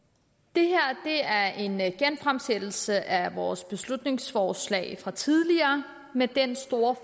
det her er en genfremsættelse af vores beslutningsforslag fra tidligere med den store